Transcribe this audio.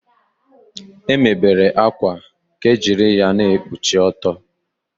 E mebere akwa ka ejiri ya na-ekpuchi ọtọ.